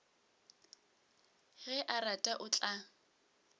ge a rata o tla